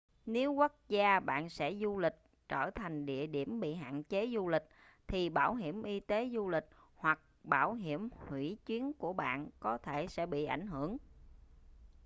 nếu quốc gia bạn sẽ du lịch trở thành địa điểm bị hạn chế du lịch thì bảo hiểm y tế du lịch hoặc bảo hiểm hủy chuyến của bạn có thể sẽ bị ảnh hưởng